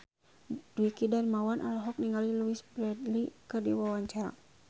Dwiki Darmawan olohok ningali Louise Brealey keur diwawancara